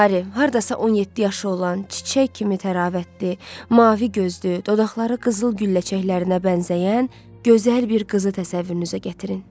Harry, hardasa 17 yaşı olan, çiçək kimi təravətli, mavi gözlü, dodaqları qızıl gülləçəklərinə bənzəyən gözəl bir qızı təsəvvürünüzə gətirin.